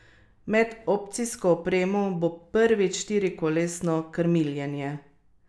Med opcijsko opremo bo prvič štirikolesno krmiljenje.